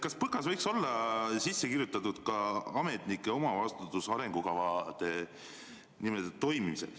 Kas PõKasse võiks olla sisse kirjutatud ka ametnike vastutus arengukavade toimimise eest?